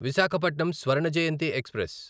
Visakhapatnam Swarna Jayanti express